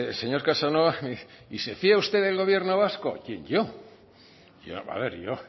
señor casanova me dice y se fía usted del gobierno vasco quién yo